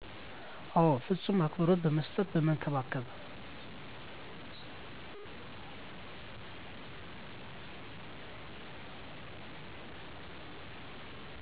አዎ ፍፁም አክብሮት በመስጠት በመንከባከብ